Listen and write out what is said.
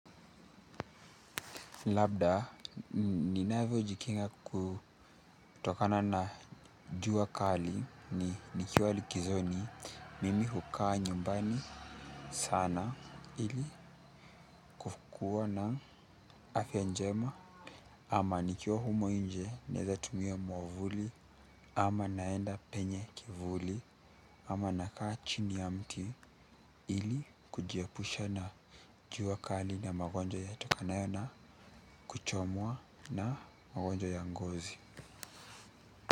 Labda, ninavyojikinga kutokana na jua kali ni nikiwa likizoni, mimi hukaa nyumbani sana ili kukua na afya njema ama nikiwa humo nje naeza tumia mwavuli ama naenda penye kivuli ama nakaa chini ya mti ili kujiepusha na jua kali na magonjwa yatokanayo na kuchomwa na magonjwa ya ngozi.